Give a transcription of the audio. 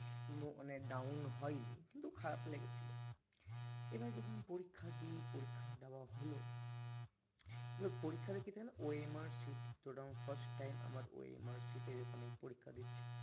মানে down হয়নি কিন্তু খারাপ লেগেছিল এবার যখন পরীক্ষা দি পরীক্ষা দেওয়া হল এবার পরীক্ষা তা কি যান OMR sheet তো ওটা আমার first time আমি OMR sheet এ পরীক্ষা দিচ্ছি